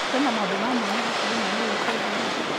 Kwĩna maũndũ ma mwanya hakuhĩ naniĩ wikendi ĩno ?